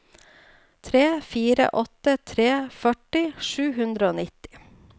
tre fire åtte tre førti sju hundre og nitti